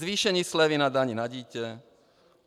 Zvýšení slevy na dani na dítě.